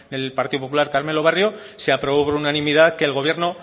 del partido popular carmelo barrio se aprobó por unanimidad que el gobierno